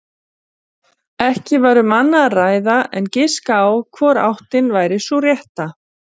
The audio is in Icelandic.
Lykilatriði er að pískurinn titri.